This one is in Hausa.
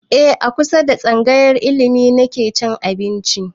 E a kusa da tsangayar ilimi nake cin abinci